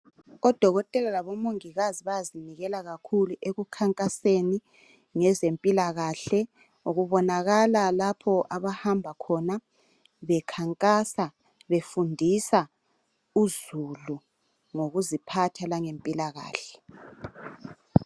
Odokotela labomongikazi bayazinikela kakhulu ekukhankaseni ngezempilakahle kubonakala lapho abahamba khona bekhankasa befundisa uzulu ngokuziphatha langempilakahle.